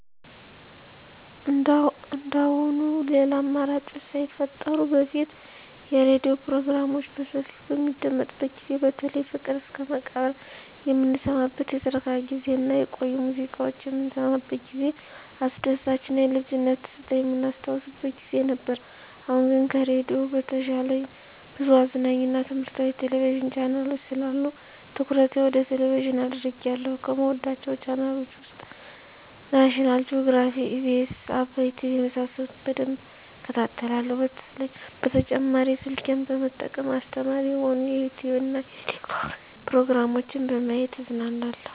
እንደአሁኑ ሌላ አማራጮች ሳይፈጠሩ በፊት የሬዲዮ ፕሮግራሞች በሰፊው በሚደመጥበት ጊዜ በተለይ ፍቅር እስከመቃብር የምንሰማበት የትረካ ጊዜ እና የቆዩ ሙዚቃዎች የምንሰማበት ጊዜ አስደሳች እና የልጅነት ትዝታ የምናስታውስበት ጊዜ ነበር። አሁን ግን ከሬዲዮ በተሻለ ብዙ አዝናኝ እና ትምህረታዊ የቴሌቪዥን ቻናሎች ስላሉ ትኩረቴ ወደ ቴሌቭዥን አድርጌአለሁ። ከምወዳቸው ቻናሎች ውስጥ ናሽናል ጆግራፊ, ኢቢኤስ, አባይ ቲቪ የመሳሰሉት በደንብ እከታተላለሁ። በተጨማሪ ስልኬን በመጠቀም አስተማሪ የሆኑ የዩቲዉብ እና የቲክቶክ ፕሮግራሞችን በማየት እዝናናለሁ።